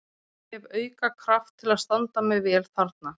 Ég hef auka kraft til að standa mig vel þarna.